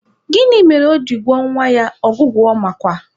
Gịnị mere o ji gụọ nwa ya Ọgụgụamakwa?